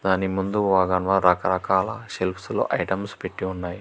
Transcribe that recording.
దాని ముందు ఓదన్ల రకరకాల సెల్ఫ్స్ లో ఐటమ్స్ పెట్టి ఉన్నాయి.